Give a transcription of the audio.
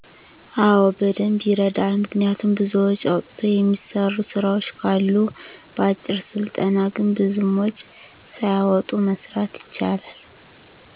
አወ በደንብ ይረዳል። ምክንያቱም ብዙ ወጭ አውጥቶ የሚሰሩ ስራወች ካሉ በአጭር ስልጠና ግን ብዙም ወጭ ሳያወጡ መስራት ይቻላል።